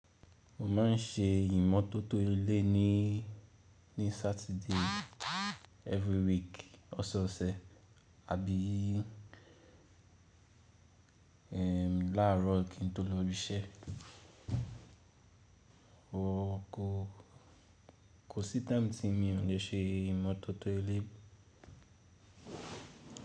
Mo ma n ṣe ìmọ́tótó ilé ní Saturday every week ọsẹ ọsẹ àbí làárọ kí n tó lọ ibi iṣẹ́. Kò sí time tí mo ò le ṣe ìmọ́tótó ilé.